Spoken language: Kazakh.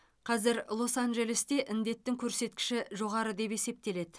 қазір лос анджелесте індеттің көрсеткіші жоғары деп есептеледі